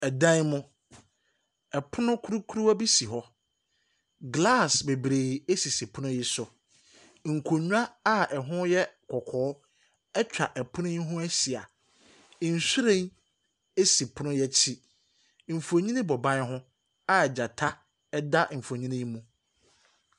Ɛdan mu, ɔpono kurukuruwa bi si hɔ, glass bebree esisi pono yi so. Nkonwa a ɛho yɛ kɔkɔɔ ɛtwa ɛpono yi ho ɛhyia. Nwhiren esi pono yi ɛkyi. Nfonni bɔ ban ho a gyata ɛda nfonni yi mu.